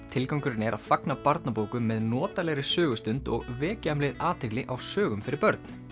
tilgangurinn er að fagna barnabókum með notalegri sögustund og vekja um leið athygli á sögum fyrir börn